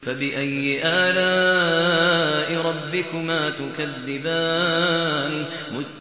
فَبِأَيِّ آلَاءِ رَبِّكُمَا تُكَذِّبَانِ